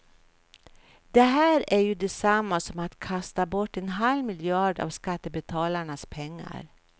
Det här är ju detsamma som att kasta bort en halv miljard av skattebetalarnas pengar.